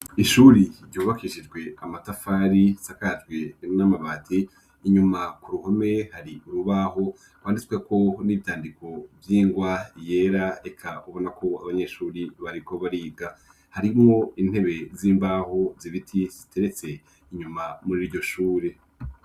Ishuri ryubakishijwe amatafari asakajwe n'amabati, inyuma ku ruhome hari urubaho vyanditsweko n'ivyandiko vy'ingwa yera reka ubona ko abanyeshuri bariko bariga. Harimwo intebe z'imbaho zibiti ziteretse inyuma mur'iryo shure.